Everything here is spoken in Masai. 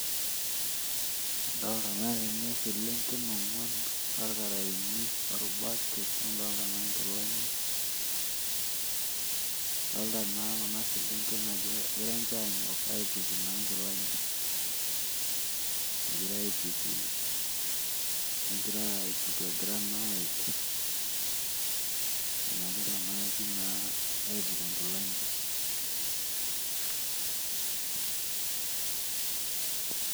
Adolta naa tene selenken oonguan orkarayeni, orbaket, nadolita naa nkilani. idoolta naa Kuna selenken ajo egira ninche aanyok aituku naa nkilani, egira aituku, egira naa aik. enyikita naa pii aituku nkilani